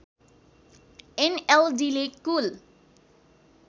एनएलडीले कुल